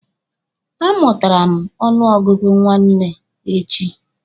A mụtara m ọnụ ọgụgụ nwanne echi.